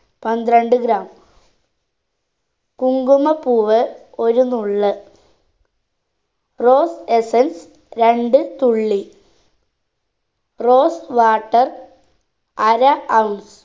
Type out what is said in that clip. പന്ത്രണ്ട് gram കുങ്കുമപ്പൂവ് ഒരു നുള്ള് rose essence രണ്ട് തുള്ളി rose water അര ounce